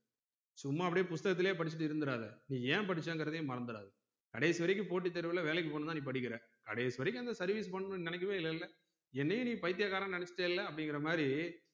சும்மா அப்டியே புஷ்த்தகத்துலே படிச்சிட்டு இருந்துராத நீ ஏன் படிச்சங்குரதையும் மறந்துடா கடைசி வரைக்கு போட்டி தேர்வுல வேலைக்கு போகணும்னு நீ படிக்குற கடைசி வரைக்கும் அங்க service பண்ணனும்னு நீ நெனைக்கவே இல்லல என்னையும் நீ பைத்தியகாரன் நெனச்சிட்டலே அப்டிங்கரமாரி